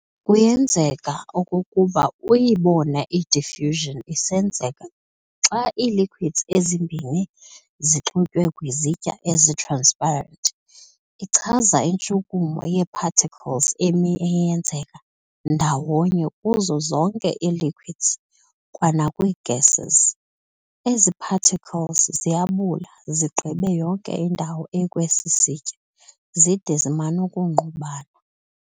Kuyenzeka okokuba uyibone i-diffusion isenzeka xa ii-liquids ezimbini zixutywe kwizitya ezi-transparent. Ichaza intshukumo yee-particles emi eyenzeka ndawonye kuzo zonke ii-liquids kwanakwii- gases.ezi particles ziyabula zigqibe yonke indawo ekwesi sitya zide ziman'ukungqubana.